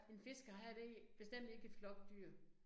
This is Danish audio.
En fiskehejre det bestemt ikke et flokdyr